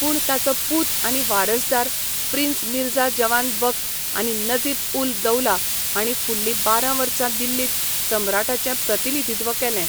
पूण ताचो पूत आनी वारसदार प्रिन्स मिर्झा जवान बख्त आनी नजीब उल दौला हांणी फुडली बारा वर्सां दिल्लींत सम्राटाचें प्रतिनिधित्व केलें.